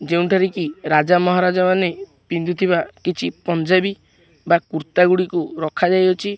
ଯେଉଁଠାରେ କି ରାଜା ମହାରାଜା ମାନେ ପିନ୍ଧୁଥିବା କିଛି ପଞ୍ଜାବି ବା କୁର୍ତ୍ତା ଗୁଡ଼ିକୁ ରଖା ଯାଇଅଛି।